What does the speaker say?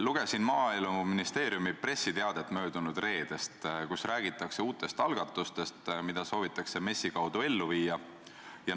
Lugesin Maaeluministeeriumi pressiteadet möödunud reedest, kus räägitakse uutest algatustest, mida soovitakse MES-i kaudu ellu viia.